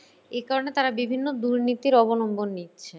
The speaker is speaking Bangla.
এ কারণে তারা বিভিন্ন দুর্নীতির অবলম্বন নিচ্ছে।